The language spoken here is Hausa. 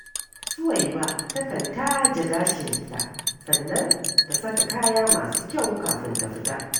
Suwaiba takan taje gashinta, sannan ta saka kaya masu kyau kafin ta fita